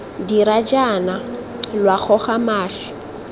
dira jaana lwa goga mašwi